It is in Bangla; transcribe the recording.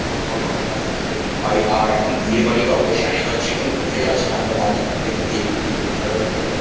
ওর সবরকম বাজি আমরা এখানে পাই আর এখন বিয়েবাড়ি বা অকেশান এ বা যেকোনো পুজোয় আছে আমরা বাজি ফাটিয়ে থাকি এগুলো খুবই ভালো লাগে ফাটাতে।